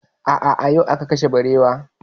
A'a, yau aka kashe barewar